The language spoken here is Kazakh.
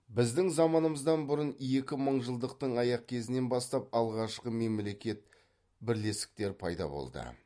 біздің заманымыздан бұрын екінші мыңжылдықтың аяқ кезінен бастап алғашқы мемлекет бірлестіктер пайда болды